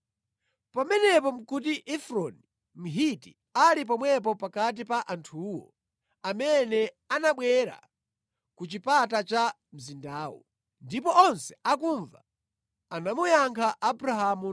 Pamenepo nʼkuti Efroni Mhiti ali pomwepo pakati pa anthuwo amene anabwera ku chipata cha mzindawo. Ndipo onse akumva anamuyankha Abrahamu